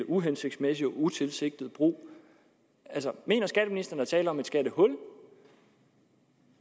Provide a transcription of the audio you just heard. uhensigtsmæssigt og utilsigtet brug altså mener skatteministeren er tale om et skattehul